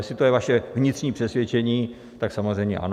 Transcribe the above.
Jestli to je vaše vnitřní přesvědčení, tak samozřejmě ano.